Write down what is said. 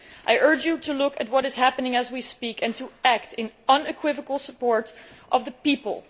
I urge you to look at what is happening as we speak and to act in unequivocal support of the people.